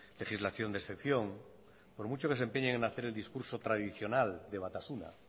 legislación de excepción por mucho que se empeñen en hacer el discurso tradicional de batasuna